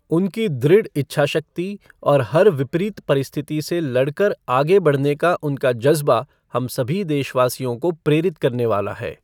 उनकी दृढ़ इच्छाशक्ति और हर विपरीत परिस्थिति से लड़कर आगे बढ़ने का उनका जज़्बा हम सभी देशवासियों को प्रेरित करने वाला है।